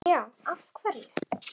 Já, af hverju?